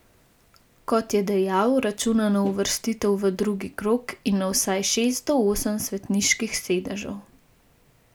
Kot je dejal, računa na uvrstitev v drugi krog in na vsaj šest do osem svetniških sedežev.